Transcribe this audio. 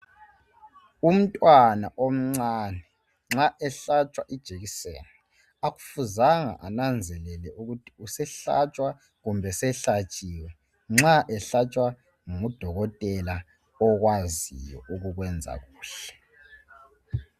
Umntwana omncane nxa ehlatshwa ijekiseni akufuzanga ananzelele ukuthi usehlatshwa kumbe sehlatshiwe nxa ehlatshwa ngudokotela okwaziyo ukukwenza kuhle.